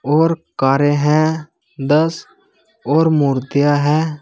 और कारें हैं दस और मूर्तियां हैं।